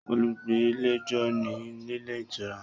Olùgbàlejò ni nílé ìtura